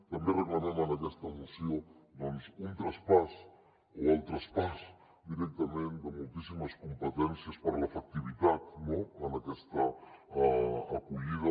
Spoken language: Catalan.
també reclamem en aquesta moció doncs un traspàs o el traspàs directament de moltíssimes competències per a l’efectivitat en aquesta acollida